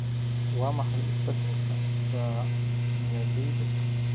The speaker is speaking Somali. Waa maxay isbeddelka saamiyadayda?